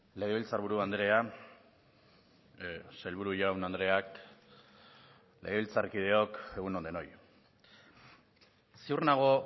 legebiltzarburu andrea sailburu jaun andreak legebiltzarkideok egun on denoi ziur nago